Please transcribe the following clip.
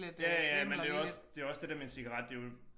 Ja ja men det jo også det jo også det der med en cigaret det jo